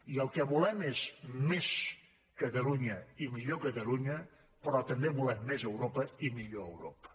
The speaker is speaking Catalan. i el que volem és més catalunya i millor catalunya però també volem més europa i millor europa